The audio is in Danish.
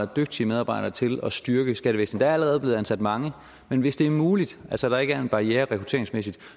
dygtige medarbejdere til at styrke skattevæsenet der er allerede blevet ansat mange men hvis det er muligt altså hvis der ikke er en barriere rekrutteringsmæssigt